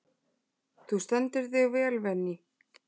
Þú stendur þig vel, Véný!